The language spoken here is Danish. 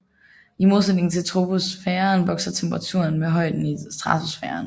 I modsætning til troposfæren vokser temperaturen med højden i stratosfæren